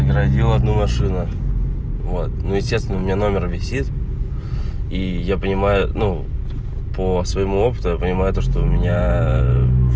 родил одну машину вот ну естественно у меня номер висит и я понимаю ну по своему опыту я понимаю то что у меня